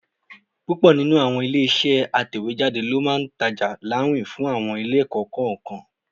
Púpọ̀ nínú àwọn ilé-iṣẹ́ atẹ̀wéjáde ló máa ń ta ọjà láwìn fún àwọn ilé-ẹ̀kọ́ kọ̀ọ̀kan.